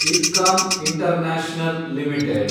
IRCON international limited